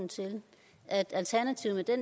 at og